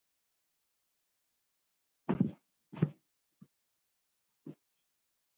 KAFLI ÞRETTÁN